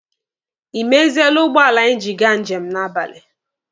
Ị meziele ụgbọala anyị ji aga njem n'abalị?